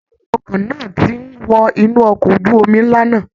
Awọn èrò ọkọ̀ náà ti ń wọ inú ọkọ ojú omi ńlá náà